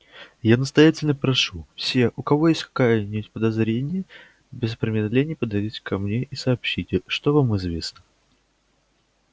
я настоятельно прошу все у кого есть хоть какая-нибудь подозрения без промедления подойдите ко мне и сообщите что вам известно